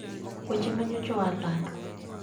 Weche ma nyocha oa lando